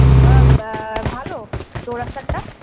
ভালো? চৌরাস্তার টা?